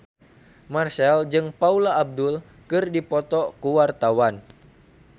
Marchell jeung Paula Abdul keur dipoto ku wartawan